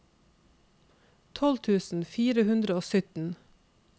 tolv tusen fire hundre og sytten